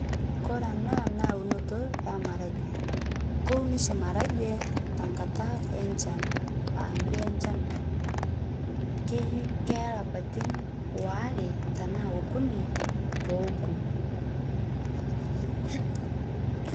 Kore ena na eunoto e maragwe keuniboshi maragwe tenkata enchan keeya lapatin aare taanaa okuni peoku